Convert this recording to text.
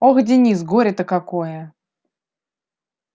ох денис горе то какое